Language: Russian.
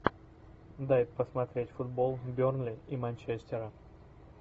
дай посмотреть футбол бернли и манчестера